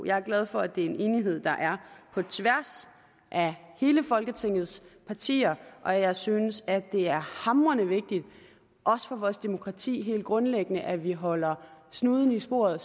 jeg er glad for at det er en enighed der er på tværs af alle folketingets partier og jeg synes at det er hamrende vigtigt også for vores demokrati helt grundlæggende at vi sige holder snuden i sporet